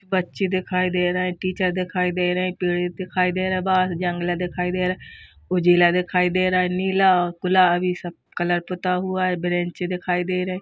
पक्षी दिखाई दे रहे हैं टीचर दिखाई दे रहे पेड़ दिखाई दे रहा बाहर जंगला दिखाई दे रहा हैं। उजला दिखाई दे रहा नीला गुलाबी सब कलर पुता हुआ हैं। बेंच दिखाई दे रहे।